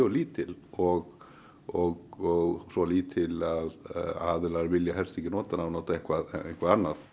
lítil og og svo lítil að aðilar vilja helst ekki nota hana og nota eitthvað eitthvað annað